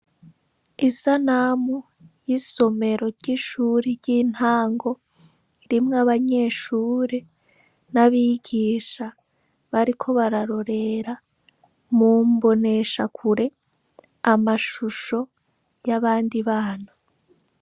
Isanamu y’isomero ry’ishuri ry’intango ririmw’abanyeshure n’abigisha bariko bararorera mu mbonesha kure amashusho y’abandi bana.